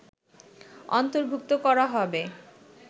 অন্তর্ভুক্ত করা হবে